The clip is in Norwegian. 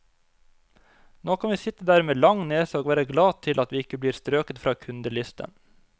Nå kan vi sitte der med lang nese og være glad til at vi ikke blir strøket fra kundelisten.